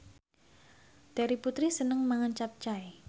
Terry Putri seneng mangan capcay